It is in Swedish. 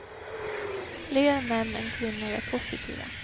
Fler män än kvinnor är positiva.